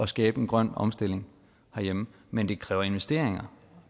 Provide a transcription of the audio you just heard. skabe en grøn omstilling herhjemme men det kræver investeringer